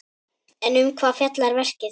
En um hvað fjallar verkið?